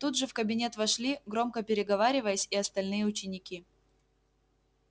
тут же в кабинет вошли громко переговариваясь и остальные ученики